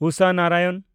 Usha Narayanan